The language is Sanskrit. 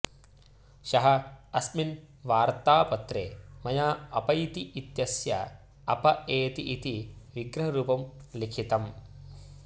ह्यः अस्मिन् वार्त्तापत्रे मया अपैति इत्यस्य अप एति इति विग्रहरूपं लिखितम्